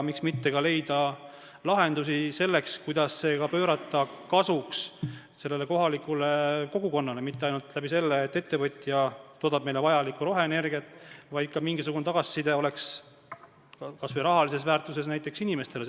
Miks mitte ka leida lahendusi selleks, kuidas see pöörata kohaliku kogukonna kasuks ja mitte ainult selles mõttes, et ettevõtja toodab meile vajalikku roheenergiat, vaid et oleks ka mingisugune tagasiside näiteks kas või rahalises väärtuses nendele inimestele.